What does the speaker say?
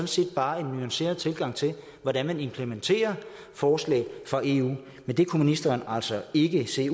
set bare en nuanceret tilgang til hvordan man implementerer forslag fra eu men det kunne ministeren altså ikke se